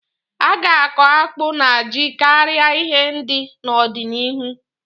A ga-akọ akpụ na ji karịa ihe ndị n'ọdịnihu.